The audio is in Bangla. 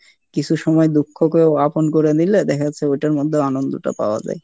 কিছু সময় দুঃখকেও আপন করে নিলে দেখা যাচ্ছে ওইটার মধ্যেও আনন্দ টা পাওয়া যায়।